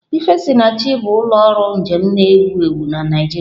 Ifesinachi bụ ụlọ ọrụ njem na-ewu ewu na Naịjirịa.